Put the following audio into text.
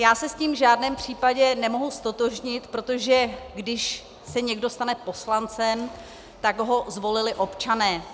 Já se s tím v žádném případě nemohu ztotožnit, protože když se někdo stane poslancem, tak ho zvolili občané.